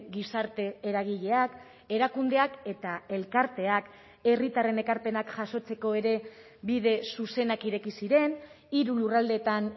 gizarte eragileak erakundeak eta elkarteak herritarren ekarpenak jasotzeko ere bide zuzenak ireki ziren hiru lurraldeetan